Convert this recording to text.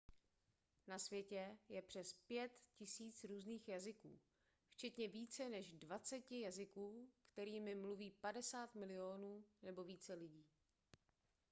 na světě je přes 5 000 různých jazyků včetně více než dvaceti jazyků kterými mluví 50 milionů nebo více lidí